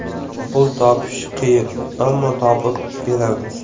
Pul topish qiyin, ammo topib beramiz.